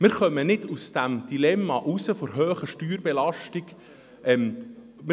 Wir kommen nicht aus dem Dilemma der hohen Steuerbelastung hinaus.